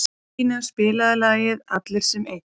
Regína, spilaðu lagið „Allir sem einn“.